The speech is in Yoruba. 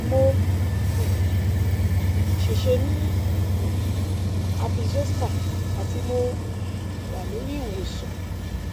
mo um se se ni um herpes zoster ati mo um wa lori iwosan